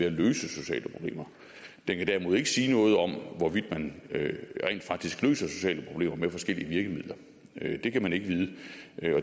at løse sociale problemer den kan derimod ikke sige noget om hvorvidt man rent faktisk løser sociale problemer med forskellige virkemidler det kan man ikke vide